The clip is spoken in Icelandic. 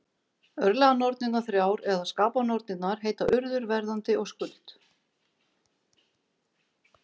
Örlaganornirnar þrjár, eða skapanornirnar, heita Urður, Verðandi og Skuld.